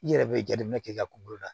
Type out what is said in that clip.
I yɛrɛ be jateminɛ k'i ka kungo la